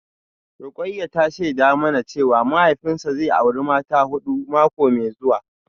Rukayyah ta shaida mana cewa mahaifinsa zai auri mata ta hudu mako mai zuwa